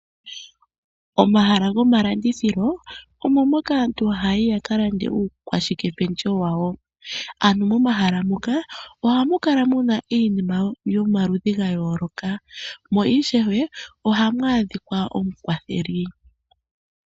Omahala gomalandithilo omo moka aantu ha ya yi ya ka lande uukwashike pendjewo wawo. Momahala moka ohaku kala mu na iinima yomaludhi ga yooloka mo, mo ishewe ohamu adhika omukwatheli.